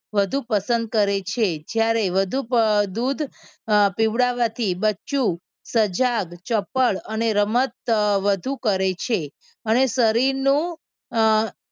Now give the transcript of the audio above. વધુ પસંદ કરે છે. જ્યારે વધુ દૂધ અમ પીવડાવવાથી બચ્ચું સજાગ ચપ્પડ અને રમત વધુ કરે છે. અને શરીરનું અમ